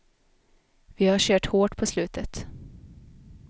Vi har kört hårt på slutet.